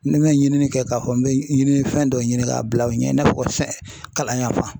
Ni n bɛ ɲinikɛ k'a fɔ n bɛ ɲininifɛn dɔ ɲini k'a bila u ɲɛ i n'a fɔ fɛn kalan yan fan